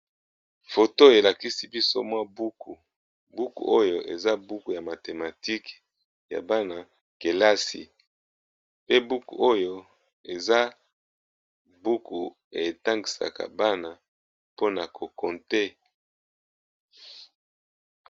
Foto elakisi biso mwa buku, buku oyo eza buku ya mathematique ya bana kelasi. Pe buku oyo eza buku, etangisaka bana mpona ko compté.